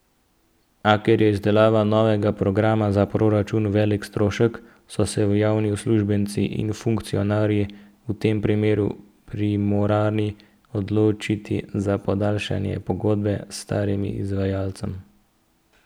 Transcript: A ker je izdelava novega programa za proračun velik strošek, so se javni uslužbenci in funkcionarji v tem primeru primorani odločiti za podaljšanje pogodbe s starim izvajalcem.